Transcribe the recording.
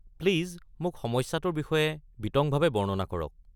Please মোক সমস্যাটোৰ বিষয়ে বিতংভাৱে বৰ্ণনা কৰক।